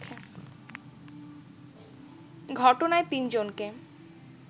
ঘটনায় তিনজনকে